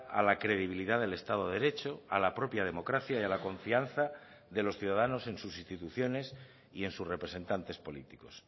a la credibilidad del estado de derecho a la propia democracia y a la confianza de los ciudadanos en sus instituciones y en sus representantes políticos